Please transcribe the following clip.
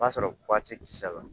O b'a sɔrɔ tɛ kisɛ la